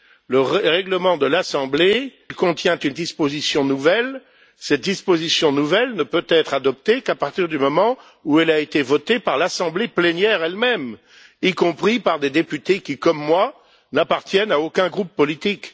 Si le règlement de l'assemblée contient une disposition nouvelle, cette dernière ne peut être adoptée qu'à partir du moment où elle a été votée par l'assemblée plénière elle même, y compris par des députés qui, comme moi, n'appartiennent à aucun groupe politique.